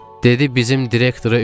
Dedi bizim direktora ümid olma.